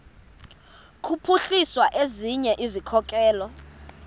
kuphuhlisa ezinye izikhokelo